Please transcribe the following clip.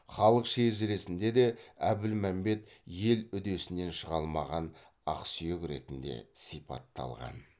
халық шежіресінде де әбілмәмбет ел үдесінен шыға алмаған ақсүйек ретінде сипатталған